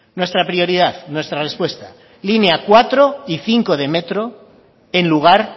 nuestra prioridad nuestra respuesta línea cuatro y cinco de metro en lugar